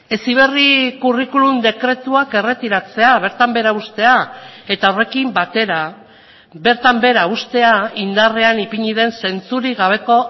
heziberri curriculum dekretuak erretiratzea bertan behera uztea eta horrekin batera bertan behera uztea indarrean ipini den zentzurik gabeko